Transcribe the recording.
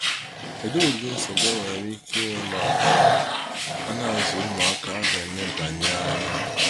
kedụ ụdị nsogbu e nwere ike ịnwe ma ana azụ ụmụaka a ga enebanye anya.